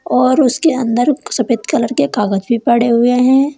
और उसके अंदर सफेद कलर के कागज भी पड़े हुए हैं।